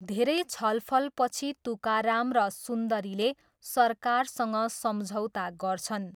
धेरै छलफलपछि तुकाराम र सुन्दरीले सरकारसँग सम्झौता गर्छन्।